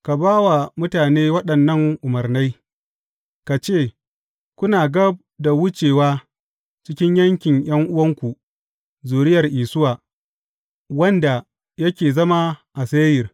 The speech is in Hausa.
Ka ba wa mutane waɗannan umarnai, ka ce, Kuna gab da wucewa cikin yankin ’yan’uwanku, zuriyar Isuwa, wanda yake zama a Seyir.